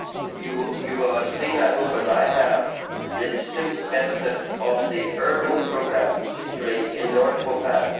You will have seen, I hope, as I have, the distinct benefit of the Urban Programme, particularly in North Belfast.